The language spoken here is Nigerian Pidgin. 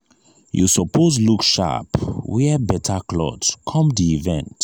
you suppose look sharp wear better cloth come di event